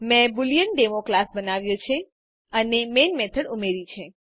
મેં બોલેએન્ડેમો ક્લાસ બનાવ્યો છે અને મેઇન મેથડ ઉમેર્યી છે